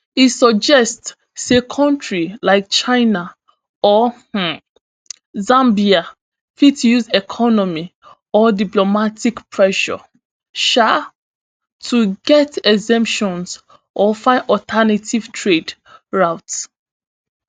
e suggest say kontris like china or um zambia fit use economic or diplomatic pressure um to get exemptions or find alternative trade routes